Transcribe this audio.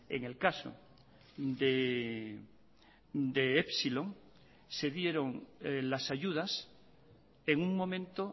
en el caso de epsilon se dieron las ayudas en un momento